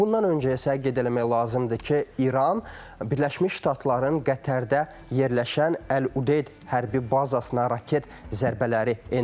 Bundan öncə isə qeyd eləmək lazımdır ki, İran Birləşmiş Ştatların Qətərdə yerləşən Əl-Udeyd hərbi bazasına raket zərbələri endirib.